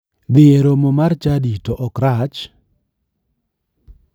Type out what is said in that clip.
Dhi e romo mar chadi to ok rach.